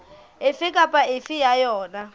efe kapa efe ya yona